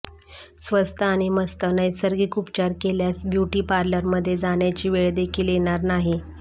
स्वस्त आणि मस्त नैसर्गिक उपचार केल्यास ब्युटी पार्लरमध्ये जाण्याची वेळ देखील येणार नाही